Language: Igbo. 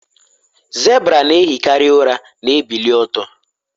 zebra na-ehikarị ụra na-ebili ọtọ